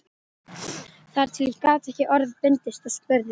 Þar til ég gat ekki orða bundist og spurði